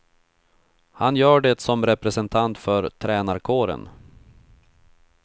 Han gör det som representant för tränarkåren.